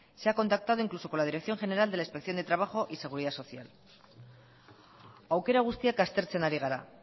se ha contactado incluso con la dirección general de la inspección de trabajo y seguridad social aukera guztiak aztertzen ari gara